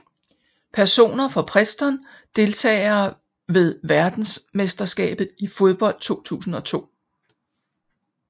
Personer fra Preston Deltagere ved verdensmesterskabet i fodbold 2002